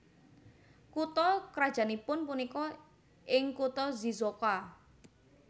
Kutha krajannipun punika ing kutha Shizuoka